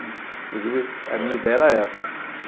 Inclusive, a minha ideia era essa.